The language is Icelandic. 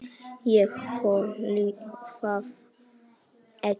ÉG ÞOLI ÞAÐ EKKI!